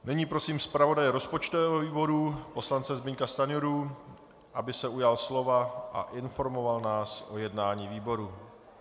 Nyní prosím zpravodaje rozpočtového výboru poslance Zbyňka Stanjuru, aby se ujal slova a informoval nás o jednání výboru.